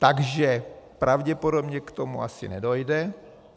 Takže pravděpodobně k tomu asi nedojde.